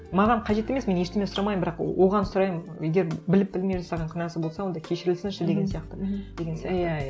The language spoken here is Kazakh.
маған қажет емес мен ештеңе сұрамаймын бірақ оған сұраймын егер біліп білмей жасаған күнәсі болса онда кешірілсінші деген сияқты деген сияқты иә иә